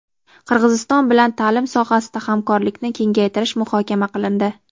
Qirg‘iziston bilan ta’lim sohasida hamkorlikni kengaytirish muhokama qilindi.